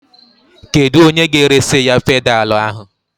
Kedụ onye ga-eresi ya pedalu ahụ?